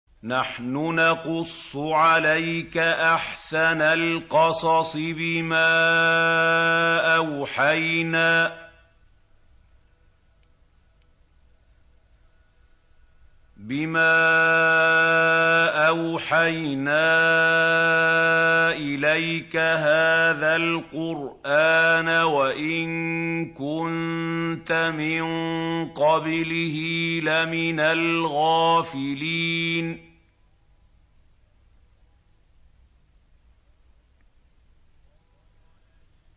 نَحْنُ نَقُصُّ عَلَيْكَ أَحْسَنَ الْقَصَصِ بِمَا أَوْحَيْنَا إِلَيْكَ هَٰذَا الْقُرْآنَ وَإِن كُنتَ مِن قَبْلِهِ لَمِنَ الْغَافِلِينَ